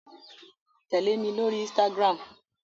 Tẹle mi lori ínsìtágirámu!